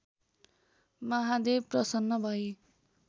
महादेव प्रसन्न भई